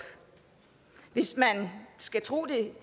hvis man skal tro det